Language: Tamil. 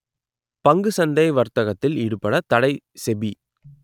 பங்கு சந்தை வர்த்தகத்தில் ஈடுபட தடை செபி